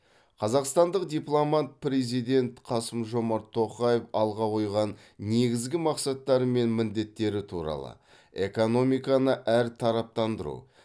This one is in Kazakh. қазақстандық дипломат президент қасым жомарт тоқаев алға қойған негізгі мақсаттары мен міндеттері туралы экономиканы әртараптандыру